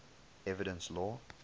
evidence law